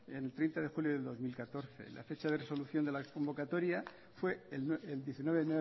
el treinta de julio del dos mil catorce la fecha de resolución de la convocatoria fue el diecinueve